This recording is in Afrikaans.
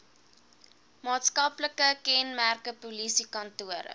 maatskaplike kenmerke polisiekantore